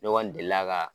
Ne kɔni delila ka